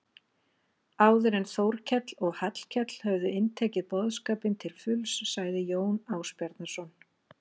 Áður en Þórkell og Hallkell höfðu inntekið boðskapinn til fulls sagði Jón Ásbjarnarson